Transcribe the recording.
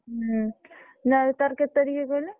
ହୁଁ ନାଇଁ ତାର କେତେ ତାରିଖ ରେ କହିଲୁ?